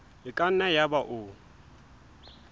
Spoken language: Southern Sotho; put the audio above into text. e ka nna yaba o